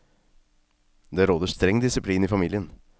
Det råder streng disiplin i familien.